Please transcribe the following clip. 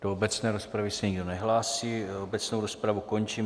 Do obecné rozpravy se nikdo nehlásí, obecnou rozpravu končím.